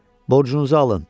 Borcunuzu alın!